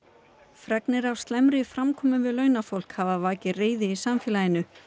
fregnir af slæmri framkomu við launafólk hafa vakið reiði í samfélaginu